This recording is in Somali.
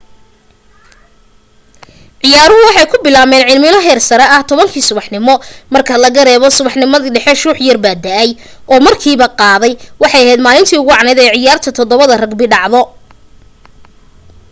ciyaaruhu waxay ku bilaabmeen cimilo heersare ah 10:00 subaxnimo marka laga reebo subaxnimadii dhexe shuux da'ay oo markiiba qaaday waxay ahayd maalintii ugu wacnayd ee ciyaarta 7 ragbi dhacdo